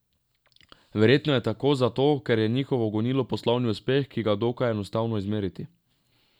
Verjetno je tako zato, ker je njihovo gonilo poslovni uspeh, ki ga je dokaj enostavno izmeriti.